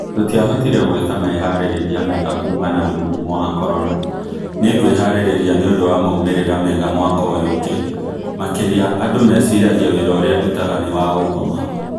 Tũtiahotire gũeka meharereria mega kuumana na mũrimo wa corona Nĩngweharĩrĩria nĩundo wa maumera mega mwaka ũyo ũngĩ MakenqAndũ meciragia wira urĩa ndutaga niwaũngoma"